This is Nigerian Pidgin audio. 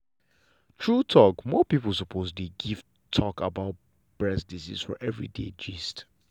true talk more people suppose dey talk about breast disease for everyday gist.